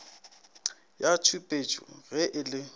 ya tšhupetšo ge e le